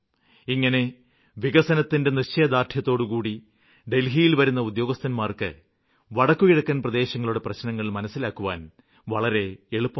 ഇങ്ങനെ വികസനത്തിന്റെ നിശ്ചയദാര്ഢ്യത്തോടുകൂടി ഡല്ഹിയില് വരുന്ന ഉദ്യോഗസ്ഥര്ക്ക് വടക്കുകിഴക്കന് പ്രദേശങ്ങളുടെ പ്രശ്നങ്ങള് മനസ്സിലാക്കുവാന് വളരെ എളുപ്പമാണ്